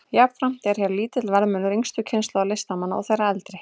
Jafnframt er hér lítill verðmunur yngstu kynslóðar listamanna og þeirrar eldri.